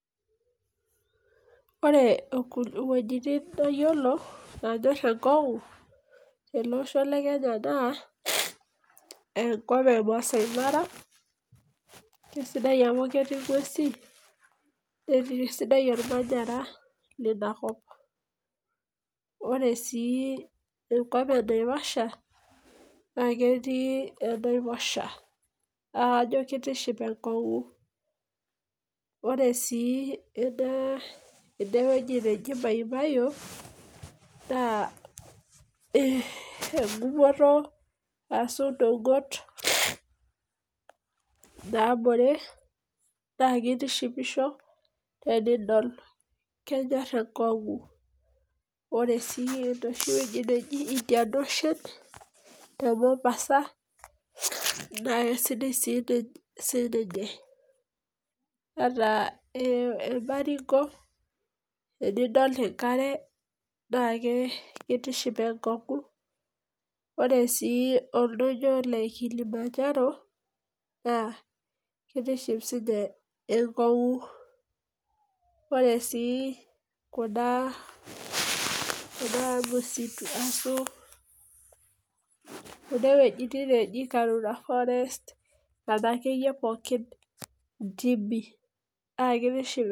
Ore iwuejitin nayiolo naanyor enkong'u tele osho le Kenya naa enkop e Maasai Mara, kesidai amu ketii ing'uesi, netii sidai olmanyara leina kop. Ore sii enkop e Naivasha naa kajo etii enaiposha naa kajo eitiship enkong'u. Ore sii ene wueji naji MahiMayiu, engumoto ashu eneng'ot naabore naake eitishipisho tenidol, kenyor enkong'u. Ore sii enooshi wueji naji Indian Ocean te Mombasa, naake sidai siininye, ata Embaring'o tenidol enkare naa keitiship enkong'u. Ore sii oldonyo le Kilimanjaro naa keitiship sii ninye enkong'u. Ore sii kuna msitu aso kuna wuejitin naji Karura forest, nena wuejitin naake pookin intimi naake eitiship inkonyek.